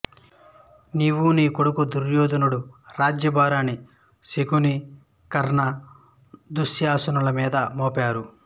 నీవు నీ కొడుకు దుర్యోధనుడు రాజ్యభారాన్ని శకుని కర్ణ దుశ్శాసనుల మీద మోపారు